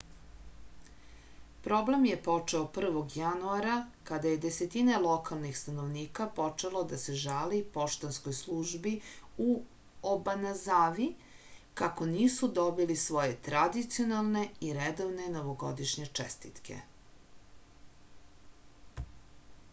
problem je počeo 1. januara kada je desetine lokalnih stanovnika počelo da se žali poštanskoj službi u obanazavi kako nisu dobili svoje tradicionalne i redovne novogodišnje čestitke